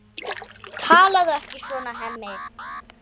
Talaðu ekki svona, Hemmi!